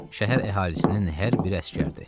Şəhər əhalisinin hər biri əsgərdir.